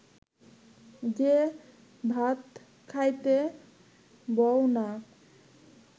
যে ভাত খাইতে বও না